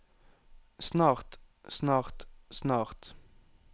snart snart snart